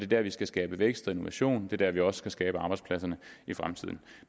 der vi skal skabe vækst og innovation det er der vi også skal skabe arbejdspladserne i fremtiden